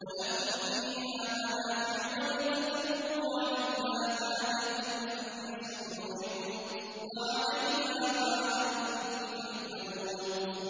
وَلَكُمْ فِيهَا مَنَافِعُ وَلِتَبْلُغُوا عَلَيْهَا حَاجَةً فِي صُدُورِكُمْ وَعَلَيْهَا وَعَلَى الْفُلْكِ تُحْمَلُونَ